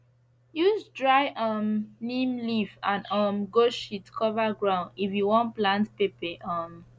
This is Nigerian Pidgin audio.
use dry um neem leaf and um goat shit cover ground if you wan plant pepper um